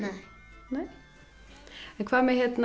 nei en hvað með